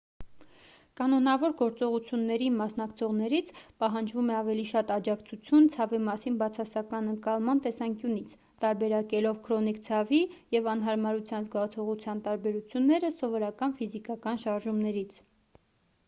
կանոնավոր գործողություններին մասնակցողներից պահանջվում է ավելի շատ աջակցություն ցավի մասին բացասական ընկալման տեսանկյունից տարբերակելով քրոնիկ ցավի և անհարմարության զգացողության տարբերությունները սովորական ֆիզիկական շարժումներից